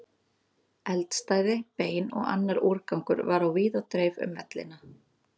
Eldstæði, bein og annar úrgangur var á víð og dreif um vellina.